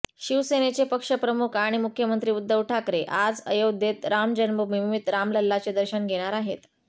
शिवसेनेचे पक्षप्रमुख आणि मुख्यमंत्री उद्धव ठाकरे आज अयोध्येत राम जन्मभूमीत रामलल्लाचे दर्शन घेणार आहेत